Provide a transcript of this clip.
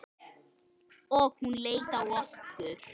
Og hún leit á okkur.